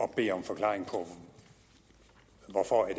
bede om forklaring på hvorfor det